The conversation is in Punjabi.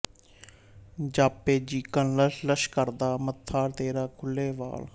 ਜਾਪੇ ਜੀਕਣ ਲਸ਼ ਲਸ਼ ਕਰਦਾ ਮੱਥਾ ਤੇਰਾ ਖੁੱਲੇ ਵਾਲ